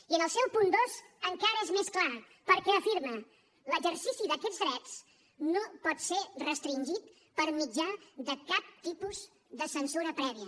i en el seu punt dos encara és més clar perquè afirma l’exercici d’aquests drets no pot ser restringit per mitjà de cap tipus de censura prèvia